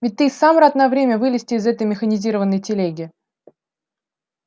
ведь ты и сам рад на время вылезти из этой механизированной телеги